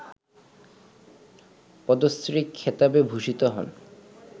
পদ্মশ্রী খেতাবে ভূষিত হন